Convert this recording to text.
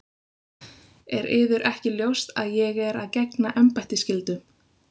Er yður ekki ljóst að ég er að gegna embættisskyldum?